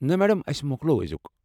نہ، میڈم، اسہِ مۄکلو، أزِیٚك۔